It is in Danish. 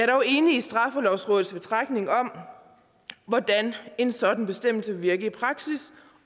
dog enig i straffelovrådets betragtning om hvordan en sådan bestemmelse vil virke i praksis